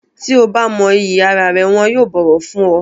Tí o bá mọ iyì ara rẹ wọn yóò bọ̀wọ̀ fún ọ.